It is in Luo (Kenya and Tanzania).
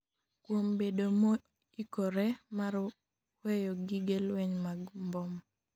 kuom bedo moikore mar weyo gige lweny mag mbom